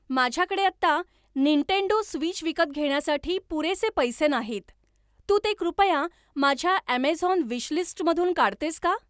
माझ्याकडे आत्ता Nintendo Switch विकत घेण्यासाठी पुरेसे पैसे नाहीत तू ते कृपया माझ्या ऍमेझॉन विशलिस्टमधून काढतेस का